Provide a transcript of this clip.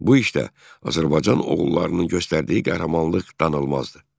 Bu işdə Azərbaycan oğullarının göstərdiyi qəhrəmanlıq danılmazdır.